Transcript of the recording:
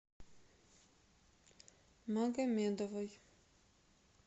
магомедовой